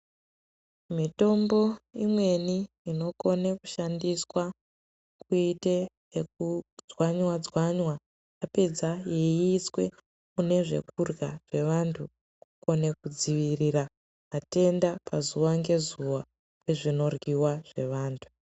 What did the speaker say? Mitombo imweni inokone kushandiswa kuite ekudzwanywa-dzwanywa yapedza yeiiswe mune zvekurya zvevantu kukone kudzivirira matenda pazuva ngezuwa pezvinoryiwa zvevantu.